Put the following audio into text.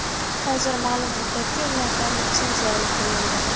Hozir ma’lum muddatga ulardan litsenziya olib qo‘yildi.